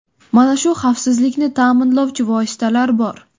Mana shu xavfsizlikni ta’minlovchi vositalar bor.